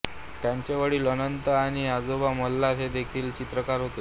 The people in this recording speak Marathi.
त्याचे वडील अनंत आणि आजोबा मल्हार हे देखिल चित्रकार होते